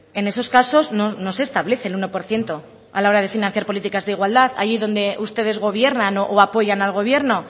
en esos casos no se establece el uno por ciento a la hora de financiar políticas de igualdad allí donde ustedes gobiernan o apoyan al gobierno